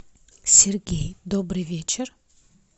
сергей добрый вечер